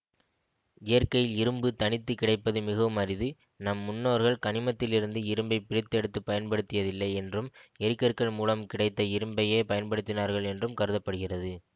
இயற்கையில் இரும்பு தனித்து கிடைப்பது மிகவும் அரிது நம் முன்னோர்கள் கனிமத்திலிருந்து இரும்பைப் பிரித்தெடுத்துப் பயன்டுத்தியதில்லை என்றும் எரிகற்கள் மூலம் கிடைத்த இரும்பையே பயன்படுத்தினார்கள் என்றும் கருத படுகிறது